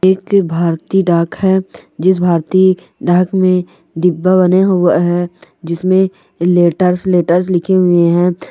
एक भारतीय डाक है जिस भारतीय डाल में डिब्बा बना हुआ है जिसमे लेटर्स लेटर्स लिखे हुए है।